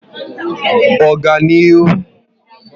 Oganihu